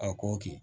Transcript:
A ko k'i